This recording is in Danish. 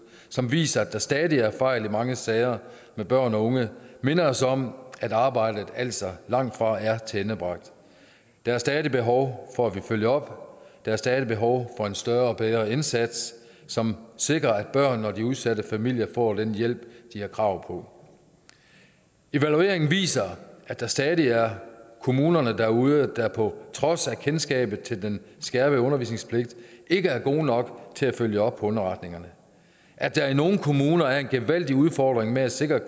som viser at der stadig er fejl i mange sager med børn og unge minder os om at arbejdet altså langtfra er tilendebragt der er stadig behov for at vi følger op der er stadig behov for en større og bedre indsats som sikrer at børnene og de udsatte familier får den hjælp de har krav på evalueringen viser at der stadig er kommuner derude der på trods af kendskabet til den skærpede underretningspligt ikke er gode nok til at følge op på underretninger at der i nogle kommuner er en gevaldig udfordring med at sikre